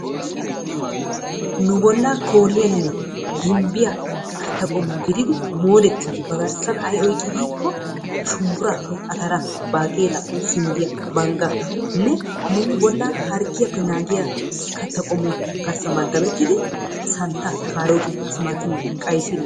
Nu bollaa kooliyanne gimbbiya katta qommo gididi moodettiiddi ba garssan ay oyiqqidi giikko shumbburaa, ataraa, baaqeelaa, sinddiya, banggaa. Ne nu bollaa harggiyappe naagiya katta qommo garssan maddabettidi santta, kaarootiya, timaatimiya, qayisiriya.